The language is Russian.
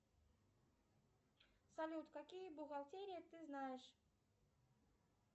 салют какие бухгалтерии ты знаешь